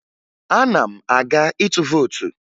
Ana m aga ịtụ vootu